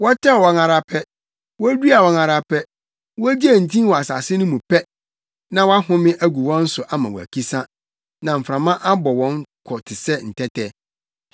Wɔtɛw wɔn ara pɛ, woduaa wɔn ara pɛ, wogyee ntin wɔ asase mu pɛ, na wahome agu wɔn so ama wɔakisa, na mframa abɔ wɔn kɔ te sɛ ntɛtɛ.